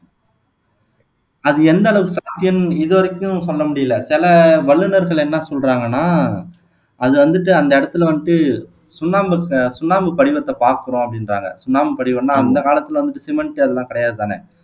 அது எந்த அளவுக்கு இதுவரைக்கும் சொல்ல முடியல சில வல்லுநர்கள் என்ன சொல்றாங்கன்னா அது வந்துட்டு அந்த இடத்தில வந்துட்டு சுண்ணாம்பு ஆஹ் சுண்ணாம்பு படிவத்த பாக்குறோம் அப்படீன்றாங்க சுண்ணாம்பு படிவம்னா அந்த காலத்தில வந்துட்டு சிமெண்ட் அதெல்லாம் கிடையாதுதான